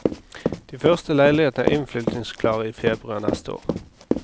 De første leilighetene er innflytningsklare i februar neste år.